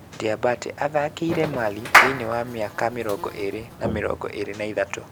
Diabate athakirĩte Mali thiini wa miaka mirongo iiri na mirongo iiri na ithatu